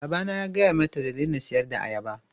My father ordered her "stop selling bananas!"